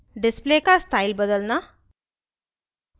display का style बदलना